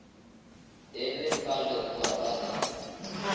e le ka leboa la